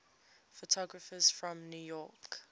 photographers from new york